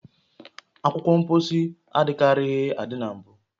Akwụkwọ mposi adịkarịghị adị na mbụ